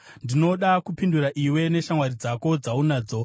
“Ndinoda kupindura iwe neshamwari dzako dzaunadzo.